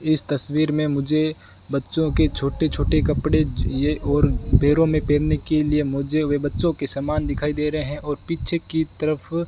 इस तस्वीर में मुझे बच्चों के छोटे छोटे कपड़े ये और पैरों में पहनने के लिए मोजे हुए बच्चों के समान दिखाई दे रहे है और पीछे की तरफ --